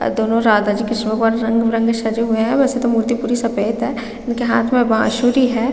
दोनों राधा जी के किसोवर रंग भी रंग सजे हुए है। वैसे तो मूर्ति पूरी सफेद है। इनके हाथ मै बांसुरी है।